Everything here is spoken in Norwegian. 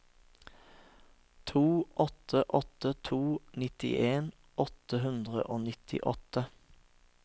to åtte åtte to nittien åtte hundre og nittiåtte